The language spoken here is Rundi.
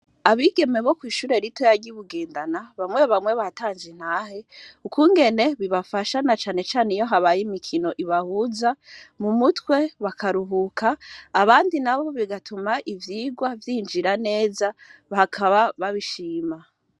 Abigeme bo kw'ishurae rito ya ryibugendana bamwe bamwe batanje intahe ukungene bibafashana canecane iyo habaye imikino ibahuza mu mutwe bakaruhuka abandi nabo bigatuma ivyigwa vyinjira neza bakaba babishima.